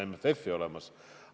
MFF-i pole olemas.